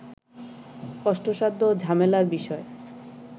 কষ্টসাধ্য ও ঝামেলার বিষয়